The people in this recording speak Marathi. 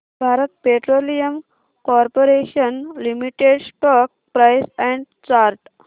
Bharat petroleum corporation limited stock price and chart